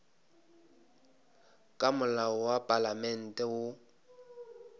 ka molao wa palamente woo